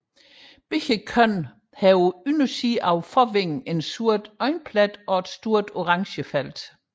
Begge køn har på undersiden af forvingen en sort øjeplet og et stort orange felt